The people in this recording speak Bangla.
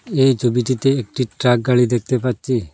এই ছবিটিতে একটি ট্রাক গাড়ি দেখতে পাচ্ছি।